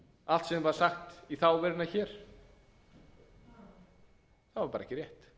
allt sem var sagt í þá veruna hér var ekki